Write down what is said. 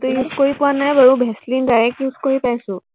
সেইটো কৰি পোৱা নাই বাৰু, ভেচলিন direct use কৰি পাইছো।